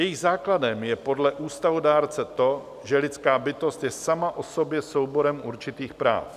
Jejich základem je podle ústavodárce to, že lidská bytost je sama o sobě souborem určitých práv.